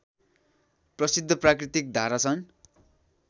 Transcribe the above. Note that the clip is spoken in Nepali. प्रसिद्ध प्राकृतिक धारा छन्